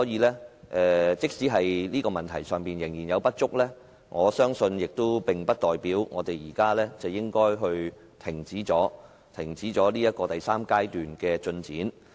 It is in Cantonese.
不過，即使在這方面仍有不足，我相信也並不代表我們現在便應停止第三階段的進展。